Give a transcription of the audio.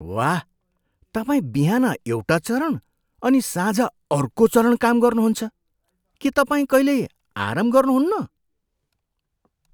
वाह! तपाईँ बिहान एउटा चरण अनि साँझ अर्को चरण काम गर्नुहुन्छ! के तपाईँ कहिल्यै आराम गर्नुहुन्न?